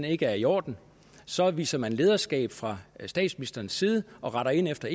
ikke er i orden så viser man lederskab fra statsministerens side og retter ind efter